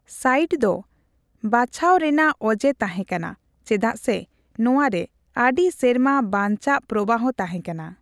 Site ᱫᱚ ᱵᱟᱪᱷᱟᱣ ᱨᱮᱱᱟᱜ ᱚᱡᱮ ᱛᱟᱦᱮᱸ ᱠᱟᱱᱟ ᱪᱮᱫᱟᱜ ᱥᱮ ᱱᱚᱣᱟ ᱨᱮ ᱟᱹᱰᱤ ᱥᱮᱨᱢᱟ ᱵᱟᱱᱪᱟᱜ ᱯᱨᱚᱵᱟᱦᱚ ᱛᱟᱸᱦᱮᱠᱟᱱᱟ ᱾